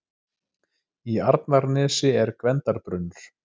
Í Arnarnesi er Gvendarbrunnur.